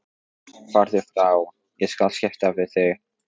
Farðu frá, ég skal skipta við þig.